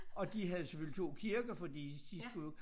Og de havde jo selvfølgelig 2 kirker fordi de skulle jo